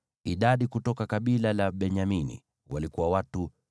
Idadi kutoka kabila la Benyamini walikuwa watu 35,400.